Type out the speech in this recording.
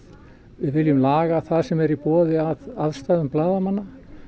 við viljum laga það sem er í boði að aðstæðum blaðamanna